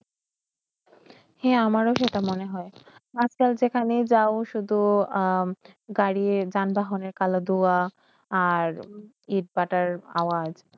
হই আমার সেইটা মনে হয় আজকাল যেখানে যায় শুদ্ধ গাড়িয়ের যান-বাহনের কাল ধোয়া আর এত-পাতার আবাজ